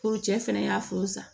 Ko cɛ fɛnɛ y'a faamu sa